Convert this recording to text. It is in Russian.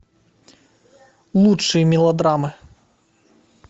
лучшие мелодрамы